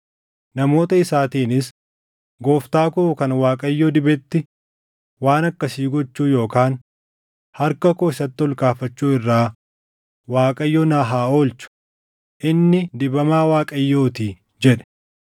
Namoota isaatiinis, “Gooftaa koo kan Waaqayyo dibetti waan akkasii gochuu yookaan harka koo isatti ol kaafachuu irraa Waaqayyo na haa oolchu; inni dibamaa Waaqayyootii” jedhe.